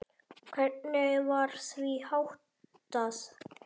Hvernig var því háttað?